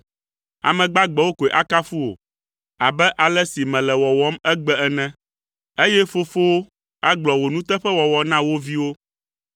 Ame gbagbewo koe akafu wò abe ale si mele wɔwɔm egbe ene, eye fofowo agblɔ wò nuteƒewɔwɔ na wo viwo.